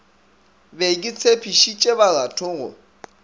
be ke tshepišitše baratho go